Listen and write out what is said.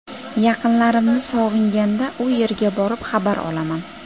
Yaqinlarimni sog‘inganda u yerga borib, xabar olaman.